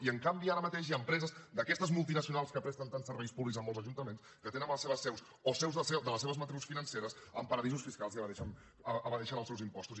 i en canvi ara mateix hi ha empreses d’aquestes multinacionals que presten tants serveis públics en molts ajuntaments que tenen les seves seus o seus de les seves matrius financeres en paradisos fiscals i evadeixen els seus impostos